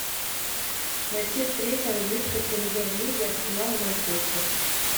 найти встречу английской премьер лиги арсенал и манчестер